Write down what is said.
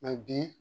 bi